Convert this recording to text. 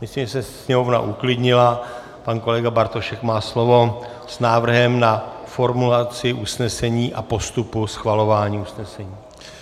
Myslím, že se sněmovna uklidnila, pan kolega Bartošek má slovo s návrhem na formulaci usnesení a postupu schvalování usnesení.